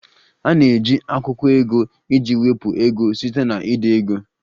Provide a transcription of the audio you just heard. A na-eji akwụkwọ ego iji wepụ ego site na ide ego